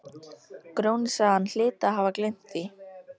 Grjóni sagði að hann hlyti að hafa gleymt því.